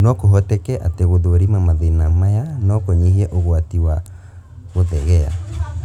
No kũhoteke atĩ gũthũrima mathĩna maya no kũnyihie ũgwati wa guthegea